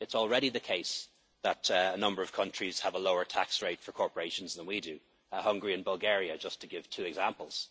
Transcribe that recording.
It's already the case that a number of countries have a lower tax rate for corporations than we do Hungary and Bulgaria, just to give two examples.